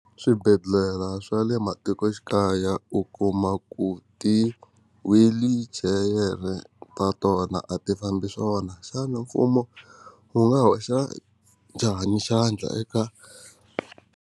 Swibedhlele swa le matikoxikaya u kuma ku ti-wheelchair ta tona a ti fambi swona xana mfumo wu nga hoxa njhani xandla eka?